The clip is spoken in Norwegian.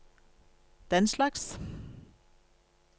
denslags